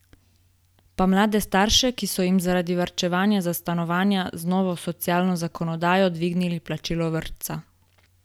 Pa mlade starše, ki so jim zaradi varčevanja za stanovanja z novo socialno zakonodajo dvignili plačilo vrtca?